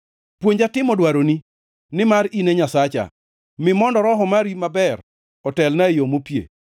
Puonja timo dwaroni, nimar in e Nyasacha; mi mondo Roho mari maber, otelna e yo mopie.